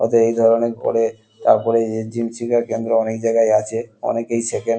ওদের এই ধরণের করে তার পরে এই জিম শেখার কেন্দ্র অনেক জায়গায় আছে অনেকেই শেখেন।